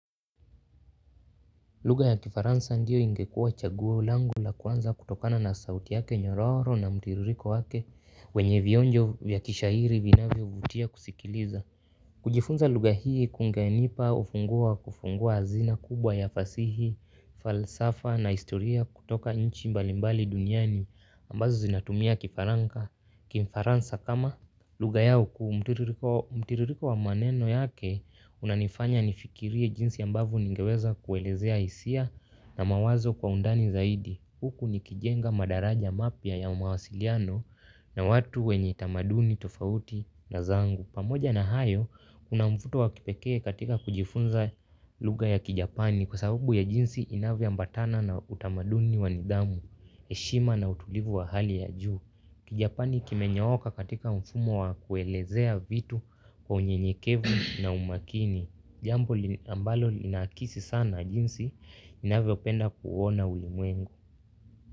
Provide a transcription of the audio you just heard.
Lugha ya kifaransa ndiyo ingekuwa chaguo langu la kwanza kutokana na sauti yake nyororo na mtiririko wake wenye vionjo vya kishairi vinavyovutia kusikiliza. Kujifunza lugha hii kungenipa ufunguu wa kufungua hazina kubwa ya fasihi, falsafa na historia kutoka nchi mbalimbali duniani ambazo zinatumia kifaranka. Kifaransa kama lugha yao kuu mtiririko mtiririko wa maneno yake unanifanya nifikirie jinsi ambavo ningeweza kuelezea hisia na mawazo kwa undani zaidi huku nikijenga madaraja mapya ya mawasiliano na watu wenye tamaduni tofauti na zangu pamoja na hayo unamfuto wa kipekee katika kujifunza lugha ya kijapani kwa sababu ya jinsi inavyo ambatana na utamaduni wanidhamu, heshima na utulivu wa hali ya juu. Kijapani kimenyooka katika mfumo wa kuelezea vitu kwa unyenyekevu na umakini jambo li ambalo linaakisi sana jinsi ninavyopenda kuuona ulimwengu.